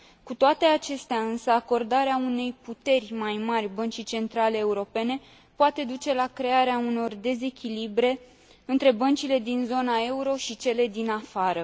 Cu toate acestea, însă, acordarea unei puteri mai mari Băncii Centrale Europene poate duce la crearea unor dezechilibre între băncile din zona euro și cele din afară.